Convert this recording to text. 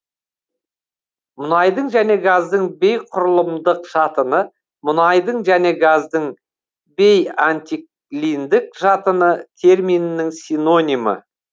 мұнайдың және газдың бейқұрылымдық жатыны мұнайдың және газдың бейантиклиндік жатыны терминінің синонимі